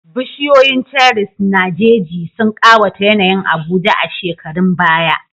Bishiyoyin cherries na jeji sun ƙawata yanayin Abuja a shekarun baya.